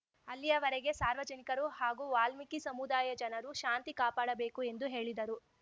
ಅಲ್ಲಿಯವರೆಗೆ ಸಾರ್ವಜನಿಕರು ಹಾಗೂ ವಾಲ್ಮೀಕಿ ಸಮುದಾಯ ಜನರು ಶಾಂತಿ ಕಾಪಾಡಬೇಕು ಎಂದು ಹೇಳಿದರು